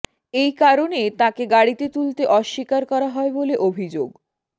এই কারণে তাঁকে গাড়িতে তুলতে অস্বীকার করা হয় বলে অভিযোগ